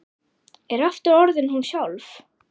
Er aftur orðin hún sjálf.